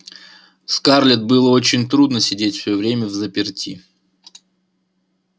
скарлетт было очень трудно сидеть все время взаперти